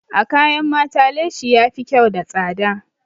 A kayan mata leshi yafi kyau da tsada.